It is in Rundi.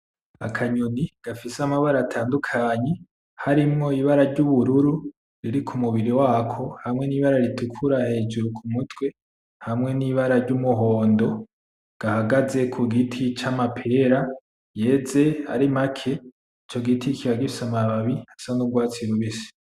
Akanyoni gafise amabara atandukanye harimwo ibara ryubururu riri kumubiri wako hamwe nibara ritukura hejuru kumutwe hamwe nibara ryumuhondo gahagaze kugiti c'amapera yeze ari make ico giti kikaba gifise amababi asa n,urwatsi rubisi .